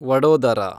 Vadodara